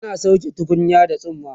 tana sauke tukunyar da tsumma